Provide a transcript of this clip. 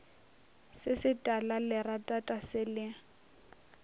se se talalerata se le